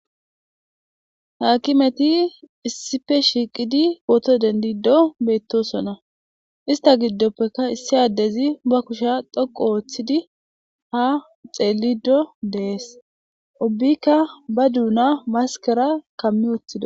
Haakimeti issipe shiiqidi pooto dendido beetosona ista gidopeka issi addezi ba keshe dhoku oothidi ha xeelidi de'es ubika ba duuna maskera kami wothidi.